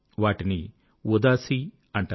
వాటిని ఉదాసీ అంటారు